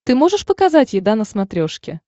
ты можешь показать еда на смотрешке